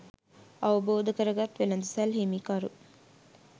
අවබෝධ කරගත් වෙළෙඳසල් හිමිකරු